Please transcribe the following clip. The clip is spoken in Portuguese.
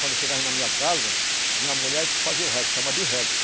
Quando eu chegava na minha casa, minha mulher que fazia o, chama de